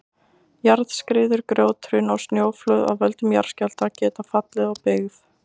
Jarðskriður, grjóthrun og snjóflóð af völdum jarðskjálfta geta fallið á byggð.